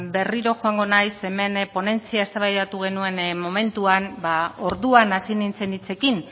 ba berriro joango naiz hemen ponentzian eztabaidatu genuen momentuan orduan hasi nintzen hitzekin